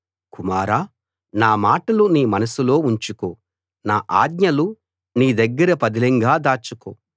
కుమారా నా మాటలు నీ మనసులో ఉంచుకో నా ఆజ్ఞలు నీ దగ్గర పదిలంగా దాచుకో